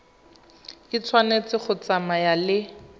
e tshwanetse go tsamaya le